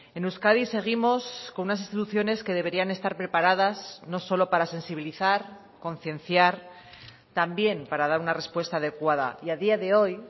en euskadi seguimos con unas instituciones que deberían estar preparadas no solo para sensibilizar concienciar también para dar una respuesta adecuada y a día de hoy